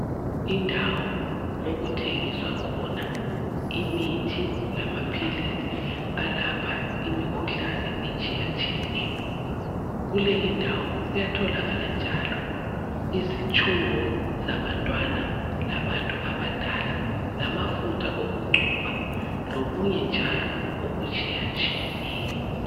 Indawo okuthengiswa khona imithi lama philisi alapha imikhuhlane etshiya tshiyeneyo. Kule indawo kuyatholakala njalo izitshubo zabantwana labantu abadala lamafutha okugcoba lokunye njalo oku tshiya tshiyeneyo.